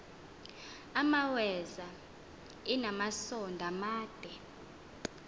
imaweza inamasond amade